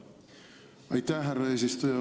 Aitäh, härra eesistuja!